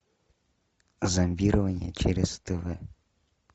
зомбирование через тв